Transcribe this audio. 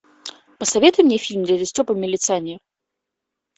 посоветуй мне фильм дядя степа милиционер